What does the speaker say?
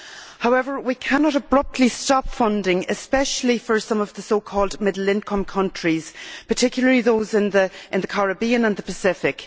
However, we cannot abruptly stop funding, especially for some of the so called middle income countries, and particularly those in the Caribbean and the Pacific.